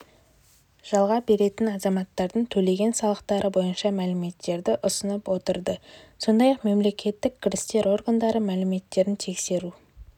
жалға беретін азаматтардың төлеген салықтары бойынша мәліметтерді ұсынып отырды сондай-ақ мемлекеттік кірістер органдары мәліметтерін тексеру